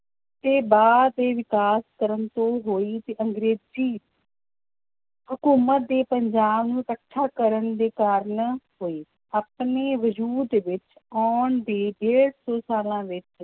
ਤੇ ਬਾਅਦ ਦੇ ਵਿਕਾਸ ਕਰਨ ਤੋਂ ਹੋਈ ਤੇ ਅੰਗਰੇਜ਼ੀ ਹਕੂਮਤ ਦੇ ਪੰਜਾਬ ਨੂੰ ਇਕੱਠਾ ਕਰਨ ਦੇ ਕਾਰਨ ਹੋਈ, ਆਪਣੇ ਵਜ਼ੂਦ ਵਿੱਚ ਆਉਣ ਦੇ ਡੇਢ ਸੌ ਸਾਲਾਂ ਵਿੱਚ